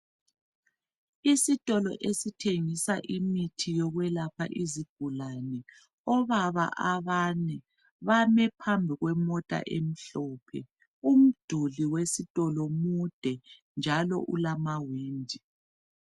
Isitolo esithengisa imithi yokwelapha izigulane. Obaba abane bame phambi kwemota emhlophe. Umduli wesitolo mude njalo ulamawindi.